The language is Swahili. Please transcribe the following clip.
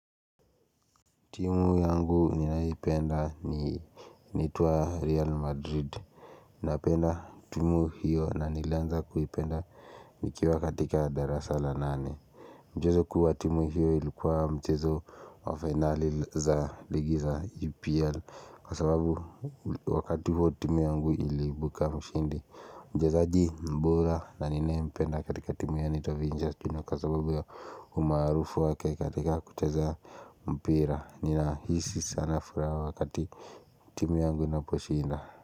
Timu yangu ninaipenda ni initwa Real Madrid Napenda timu hiyo na nilianza kuipenda nikiwa katika darasala nane Mchezo kuu wa timu hiyo ilikuwa mchezo wa finale za ligi za UPL Kwa sababu wakati huo timu yangu iliibuka mshindi Mjezo aji mbora na ninaye mpenda katika timu ya anaitovinja Tuna kwasababu ya umaarufu wake katika kuteza mpira ni na hisi sana furaha wakati timu yangu ina po shinda.